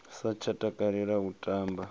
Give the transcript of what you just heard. sa tsha takalela u tamba